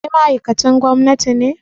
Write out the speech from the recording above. Kai ma ma'aikacin gwamnati ne?